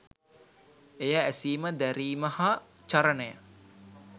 එය ඇසීම දැරීම හා චරණය